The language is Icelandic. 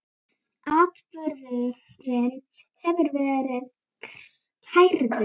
Atburðurinn hefur verið kærður.